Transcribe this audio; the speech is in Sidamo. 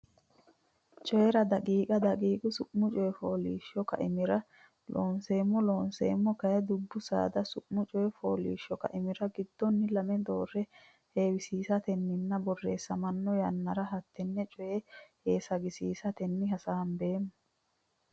Coyi ra daqiiqa daqiiqa Su ma Coy fooliishsho Kaimira Loonseemmo Looseemmo kayinni dubbu saada su mu coy fooliishsho kaimira giddonni lame doorre heewisiisatenninna borreessamanno yannara hattenne coy heesagisiisatenni hasaambeemmo.